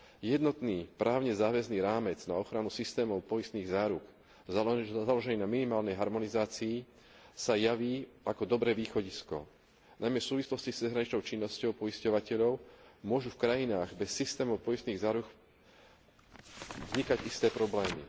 Jednotný, právne záväzný rámec na ochranu systémov poistných záruk založený na minimálnej harmonizácii sa javí ako dobré východisko. Najmä v súvislosti s cezhraničnou činnosťou poisťovateľov môžu v krajinách bez systémov poistných záruk vznikať isté problémy.